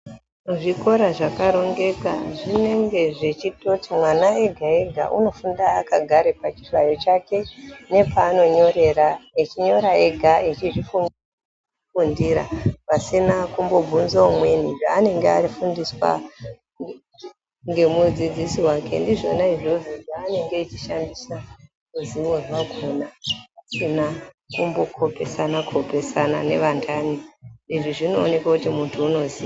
Zvikora zvakarongeka zvinenge zvechitoti mwana egaega unofunda akagare pachihlayo chake nepaanonyorera echinyora ega echizvifundira pasina kumbobvunze umweni zvaanenge afundiswa ngemudzidzisi wake ndizvona izvozvo zvaanenge echishandisa ruziwo rwakhona pasina kumbokopesana kopesana nevantani izvi zvinooneke kuti muntu unoziya.